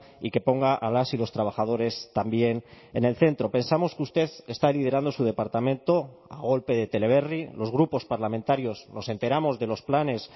y que ponga a las y los trabajadores también en el centro pensamos que usted está liderando su departamento a golpe de teleberri los grupos parlamentarios nos enteramos de los planes